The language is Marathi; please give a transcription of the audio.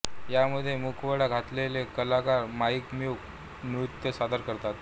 या मध्ये मुखवटा घातलेले कलाकार माइम मूक नृत्य सादर करतात